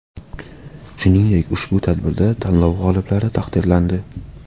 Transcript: Shuningdek ushbu tadbirda tanlov g‘oliblari taqdirlandi.